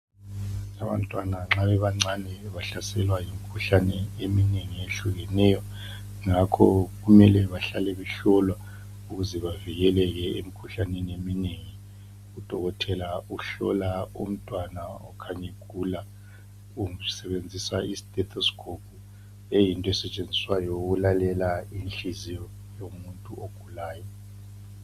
Abantwana nxa bebancane bahlaselwa yimikhuhlane eminengi eyehlukeneyo. Ngakho kumele bahlale behlolwa ukuze bavikeleke emikhuhlaneni eminengi. Udokotoela uhlola umntwana okhanya egula usebenzisa istetosikopu le yinto esetshenziswayo ukulalela inhliziyo yomuntu ogulayo.